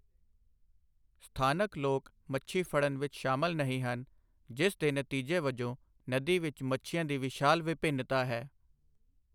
ਸਥਾਨਕ ਲੋਕ ਮੱਛੀ ਫੜਨ ਵਿੱਚ ਸ਼ਾਮਲ ਨਹੀਂ ਹਨ, ਜਿਸ ਦੇ ਨਤੀਜੇ ਵਜੋਂ ਨਦੀ ਵਿੱਚ ਮੱਛੀਆਂ ਦੀ ਵਿਸ਼ਾਲ ਵਿਭਿੰਨਤਾ ਹੈ।